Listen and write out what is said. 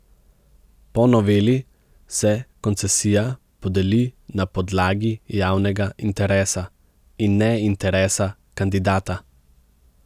Po noveli se koncesija podeli na podlagi javnega interesa in ne interesa kandidata.